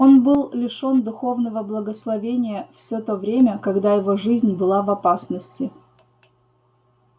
он был лишён духовного благословения всё то время когда его жизнь была в опасности